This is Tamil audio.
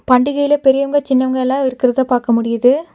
பண்டிகைல பெரியவங்க சின்னவங்க எல்லா இருக்கிறத பாக்க முடியிது.